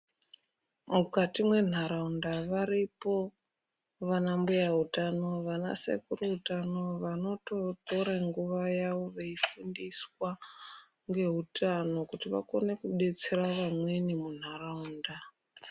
Mukati menharaunda varipo vana mbuya hutano vana sekuru utano vanotorora nguwa yawo veifundiswa nehutani kuto vakone kudetsera vamweni munharaunda.